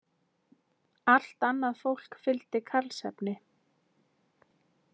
Allt annað fólk fylgdi Karlsefni.